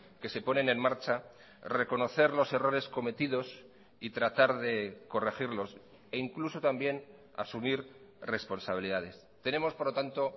que se ponen en marcha reconocer los errores cometidos y tratar de corregirlos e incluso también asumir responsabilidades tenemos por lo tanto